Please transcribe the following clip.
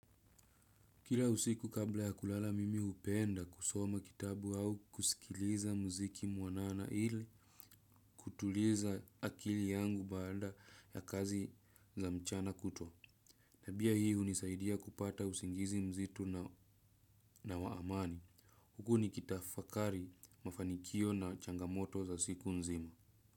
Kila usiku kabla ya kulala mimi hupenda kusoma kitabu au kusikiliza muziki mwanana ili kutuliza akili yangu baada ya kazi za mchana kutwa. Na pia hii hunisaidia kupata usingizi mzito na wa amani. Huku nikitafakari mafanikio na changamoto za siku nzima.